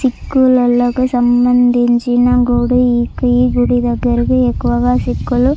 చిక్కలకు సంబందించిన గుడి ఈ గుడి దెగ్గరికి ఎక్కువగా చిక్కులు --